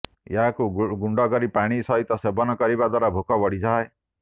ଏହାକୁ ଗୁଣ୍ଡକରି ପାଣି ସହିତ ସେବନ କରିବା ଦ୍ୱାରା ଭୋକ ବଢ଼ିଥାଏ